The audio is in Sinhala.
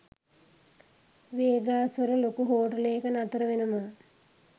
වේගාස් වල ලොකු හෝටලේක නතර වෙනවා